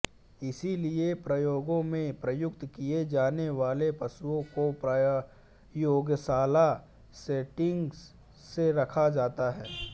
इसीलिए प्रयोगों में प्रयुक्त किये जाने वाले पशुओं को प्रयोगशाला सेटिंग्स में रखा जाता है